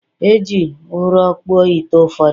E ji ụrọ kpụọ ite ụfọdụ